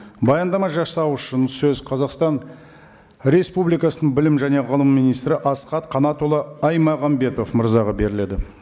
баяндама жасау үшін сөз қазақстан республикасының білім және ғылым министрі асхат қанатұлы аймағамбетов мырзаға беріледі